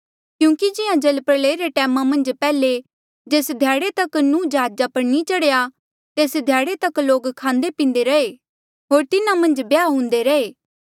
क्यूंकि जिहां जलप्रलया रे टैमा मन्झ पैहले जेस ध्याड़े तक कि नूह जहाजा पर नी चढ़ेया तेस ध्याड़े तक लोक खांदे पींदे रहे होर तिन्हा मन्झ ब्याह हुन्दे रहे